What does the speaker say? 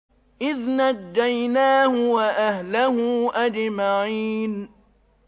إِذْ نَجَّيْنَاهُ وَأَهْلَهُ أَجْمَعِينَ